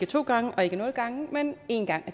to gange og ikke nul gange men én gang